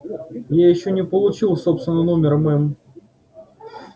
я ещё не получил собственного номера мэм